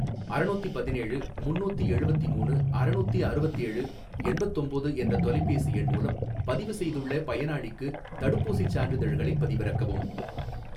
அறநூத்திபதினேழு முன்னூத்தி எழுவத்திமூணு அறநூத்தி அறுவத்தேழு எண்பத்தொம்போது என்ற தொலைபேசி எண் மூலம் பதிவு செய்துள்ள பயனாளிக்கு தடுப்பூசிச் சான்றிதழ்களைப் பதிவிறக்கவும்